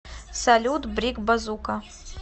салют брик базука